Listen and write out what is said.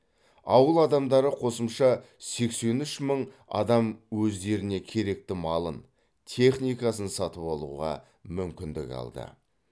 ауыл адамдары қосымша сексен үш мың адам өздеріне керекті малын техникасын сатып алуға мүмкіндік алды